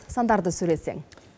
сандарды сөйлетсең